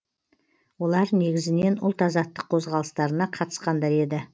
олар негізінен ұлт азаттық қозғалыстарына қатысқандар еді